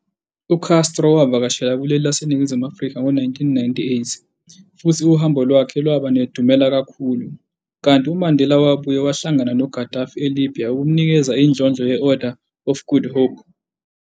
U-Castro wavakashela kuleli laseNingizimu Afrika ngo 1998, futhi uhambo lwakhe lwaba nedumela kakhulu, kanti uMandela wabuye wahlangana no-Gadaffi eLibya ukumnikeza indlondlo ye-Order of Good Hope.